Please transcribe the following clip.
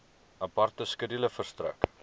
aparte skedule verstrek